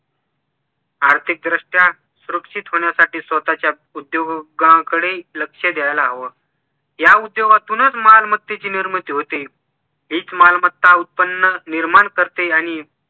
आर्थिक दृष्ट्या सुरक्षित होण्यासाठी स्वतःच्या उदयोगांकडे लक्ष द्यायला हवं या उद्योगातूनच मालमत्तेची निर्मिती होते हीच मालमत्ता उत्पन्न निर्माण करते आणि